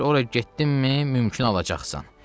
Deyir ora getdinmi, mümkün alacaqsan.